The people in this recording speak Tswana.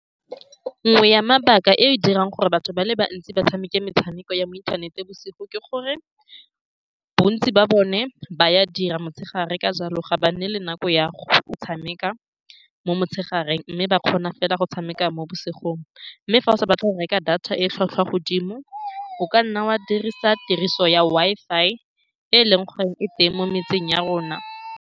Nngwe ya mabaka e e dirang gore batho ba le bantsi ba tshameke metshameko ya mo ithaneteng bosigo ke gore bontsi ba bone ba a dira motshegare. Ka jalo, ga ba nne le nako ya go tshameka mo motshegareng, mme ba kgona fela go tshameka mo bosigong, mme fa o sa batle go reka data e e tlhwatlhwa godimo, o ka nna wa dirisa tiriso ya Wi-Fi e e leng gore e teng mo metseng ya rona.